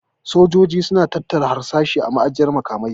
Sojojin su na tattara harsashi a ma'ajiyar makamai